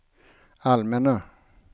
allmänna